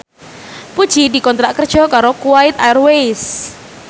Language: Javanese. Puji dikontrak kerja karo Kuwait Airways